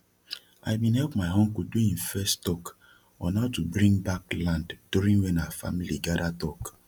i bin hep my uncle do im first talk on how to brin back land during wen our family gada talk